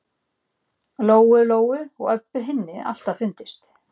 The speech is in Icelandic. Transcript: Lóu-Lóu og Öbbu hinni alltaf fundist.